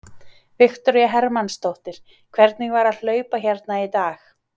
Viktoría Hermannsdóttir: Hvernig var að hlaupa hérna í dag?